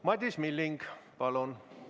Madis Milling, palun!